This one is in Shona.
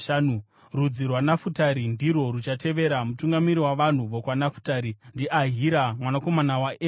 Rudzi rwaNafutari ndirwo ruchatevera. Mutungamiri wavanhu vokwaNafutari ndiAhira mwanakomana waEnani.